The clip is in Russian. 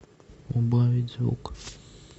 убавить звук